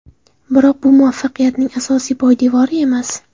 Biroq bu muvaffaqiyatning asosiy poydevori emas.